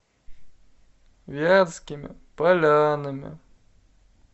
вятскими полянами